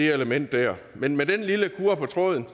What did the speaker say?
element dér men med den lille kurre på tråden